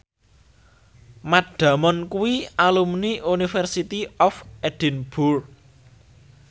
Matt Damon kuwi alumni University of Edinburgh